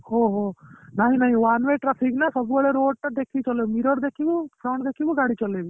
ଓହୋ ନାହିଁ ନାହିଁ one way traffic ନା ସବୁ ବେଳେ road ଟା ଦେଖିକି ଚଲେଇବୁ mirror ଦେଖିବୁ front ଦେଖିବୁ ଗାଡି ଚଳେଇବୁ